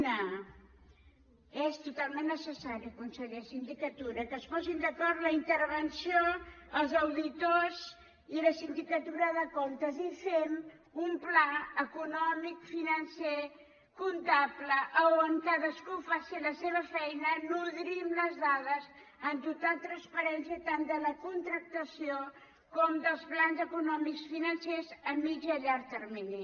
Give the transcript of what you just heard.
una és totalment necessari conseller sindicatura que es posin d’acord la intervenció els auditors i la sindicatura de comptes i fem un pla econòmic financer comptable a on cadascú faci la seva feina nodrim les dades amb total transparència tant de la c ontractació com dels plans econòmics financers a mitjà i a llarg termini